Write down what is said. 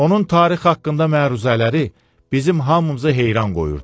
Onun tarix haqqında məruzələri bizim hamımızı heyran qoyurdu.